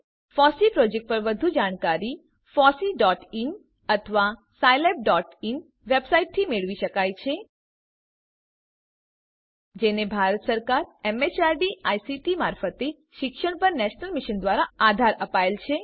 FOSSEE project પર વધુ જાણકારી fosseeઇન અથવા scilabઇન વેબસાઈટથી મેળવી શકાય છે જેને ભારત સરકાર એમએચઆરડી આઈસીટી મારફતે શિક્ષણ પર નેશનલ મિશન દ્વારા આધાર અપાયેલ છે